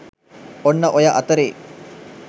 ඔන්න ඔය අතරේ